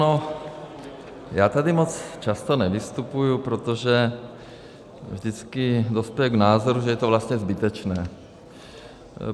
No, já tady moc často nevystupuju, protože vždycky dospěju k názoru, že je to vlastně zbytečné.